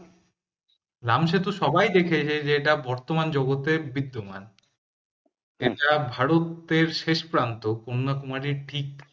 রাম সেতু সবাই দেখেছে যে এটা বর্তমান জগতে বিদ্যমান এটা ভারতের শেষ প্রান্ত কন্যাকুমারীর ঠিক